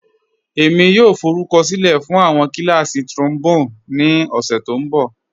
Ẹ̀mi yòò fọrùkọ̀sílẹ̀ fún awọn kílàsí̀ trombone ni ọṣẹ̀ tó nbọ̀.